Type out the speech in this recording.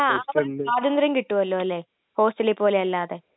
മ്, അവിടെ സ്വാതന്ത്ര്യം കിട്ടുമല്ലോ, അല്ലേ? ഹോസ്റ്റലിലെ പോലെ അല്ലാതെ...